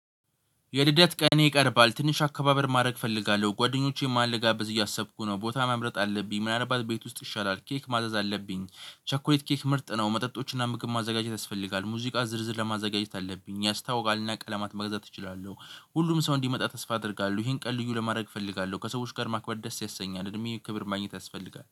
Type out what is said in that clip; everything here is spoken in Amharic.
የልደት ቀን ይቀርባል ትንሽ አከባበር ማድረግ እፈልጋለሁ ጓደኞቼን ማለጋበዝ እያሰብኩ ነው ቦታ መምረጥ አለብኝ ምናልባት ቤት ውስጥ ይሻላል ኬክ ማዘዝ አለብኝ ቸኮሌት ኬክ ምርጥ ነው። መጠጦችን ምግብ ማዘጋጀት ያስፈልጋል ሙዚቃ ዝርዝር ለማዘጋጀት አለብኝ ያስታውቃልና ቀለማት መግዛት እችላለሁ። ሁሉም ሰው እንዲመጣ ተስፋ አደርጋለሁ። ይሄን ቀን ልዩ ለማድረግ እፈልጋለሁ ከሰዎች ጋር ማክበር ደስ ያሰኛል እድሜ ክብር ማግኘት ያስፈልጋል